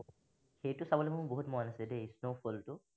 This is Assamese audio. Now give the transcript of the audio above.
এইটো চাবলৈ মোৰ বহুত মন আছে দেই snowfall টো